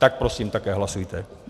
Tak prosím také hlasujte.